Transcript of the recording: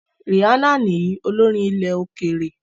Rihanna nìyín, olórin ilẹ̀-òkèèrè.